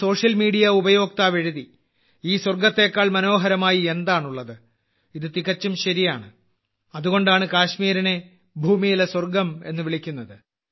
ഒരു social media ഉപയോക്താവ് എഴുതി ഈ സ്വർഗ്ഗത്തേക്കാൾ മനോഹരമായി എന്താണുള്ളത് ഇത് തികച്ചും ശരിയാണ് അതുകൊണ്ടാണ് കാശ്മീരിനെ ഭൂമിയിലെ സ്വർഗ്ഗം എന്ന് വിളിക്കുന്നത്